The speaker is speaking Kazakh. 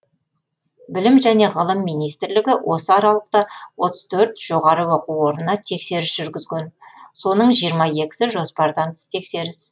білім және ғылым министрлігі осы аралықта отыз төрт жоғарғы оқу орына тексеріс жүргізген соны жиырма екісі жоспардан тыс тексеріс